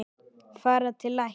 Fara til læknis?